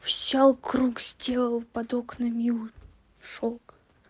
всё круг сделал под окнами и у шёлк